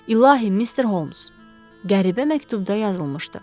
İlahi, Mister Holms, qəribə məktubda yazılmışdı.